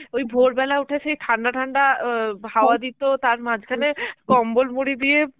ওই ভোরবেলা উঠে সেই ঠান্ডা ঠান্ডা অ্যাঁ খাওয়া দিত, তার মাঝখানে কম্বলমুড়ি দিয়ে